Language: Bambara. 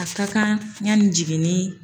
A ka kan yanni jiginni